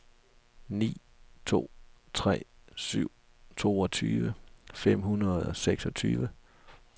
ni to tre syv toogtyve fem hundrede og seksogtyve